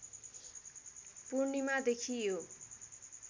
पूर्णिमादेखि यो